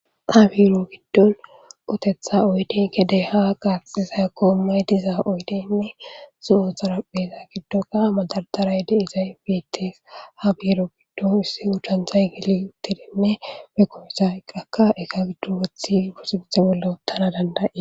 Ha biiro giddon otetha oyden kedey ha qaxiza koommay diza oydeynne zo'o xarapheza giddoka madardaray deizay bites ha biiro giddon issi udantay geli uttidinne pekkopizayqqakka eka giddon wothi buxinthe bolla uttana danda'es